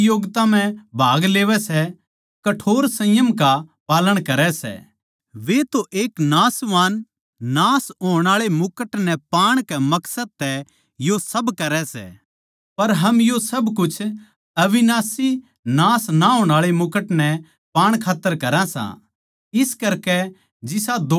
हरेक खिलाड़ी जो प्रतियोगिता म्ह भाग लेवै सै कठोर संयम का पालन करै सै वे तो एक नाशवान नाश होण आळै मुकुट नै पाण कै मकसद तै यो सब करै सै पर हम यो सब कुछ अविनाशी नाश ना होण आळै मुकुट नै पाण खात्तर करां सां